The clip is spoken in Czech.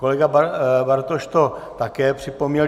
Kolega Bartoš to také připomněl.